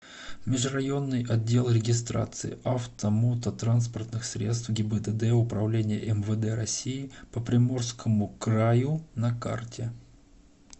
межрайонный отдел регистрации автомототранспортных средств гибдд управления мвд россии по приморскому краю на карте